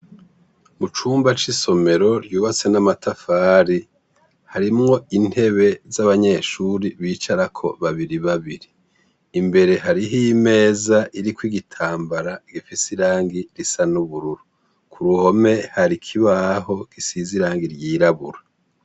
Mu cumba c'isomero yubatswe n'amatafari, harimwo intebe z'abanyeshure bicarako babiri babiri. Imbere hariho imeza iriko igitambara gifise irangi risa n'ubururu. Ku ruhome hari ikibaho gisize irangi ryirabura.